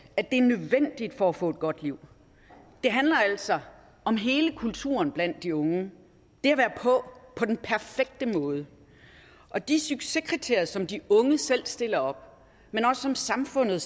at det er nødvendigt for at få et godt liv det handler altså om hele kulturen blandt de unge det at være på på den perfekte måde og de succeskriterier som de unge selv stiller op men som samfundet